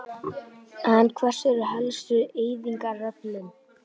En hver eru helstu eyðingaröflin?